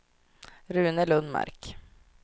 Rune Lundmark